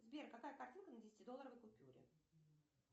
сбер какая картинка на десятидолларовой купюре